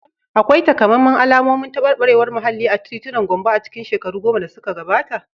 Akwai takamaiman alamomin tabarbarewar muhalli a titunan Gombe a cikin shekaru goma da suka gabata?